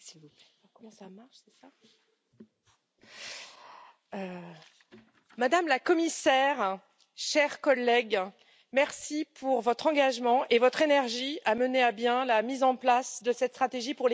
Madame la Présidente, Madame la Commissaire, chers collègues, merci pour votre engagement et votre énergie à mener à bien la mise en place de cette stratégie pour l'égalité.